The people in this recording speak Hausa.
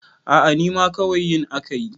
a a nima kawai yin aka yi